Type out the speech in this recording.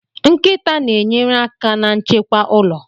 Nkịta na-enyere aka na nchekwa ụlọ